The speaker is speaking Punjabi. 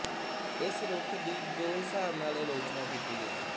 ਇਸ ਰੁਖ ਦੀ ਦੋ ਹਿਸਾਬ ਨਾਲ ਅਲੋਚਨਾ ਕੀਤੀ ਗਈ